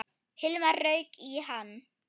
Hilmar rauk í hann.